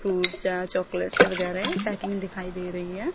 Chocolates वगैरा है packing दिखाई दे रही है।